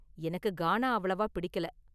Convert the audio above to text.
எனக்கு கானா அவ்வளவா பிடிக்கல.